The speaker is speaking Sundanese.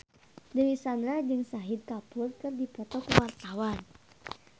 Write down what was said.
Dewi Sandra jeung Shahid Kapoor keur dipoto ku wartawan